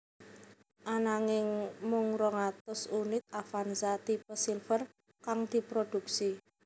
Ananging mung rong atus unit Avanza tipe Silver kang diproduksi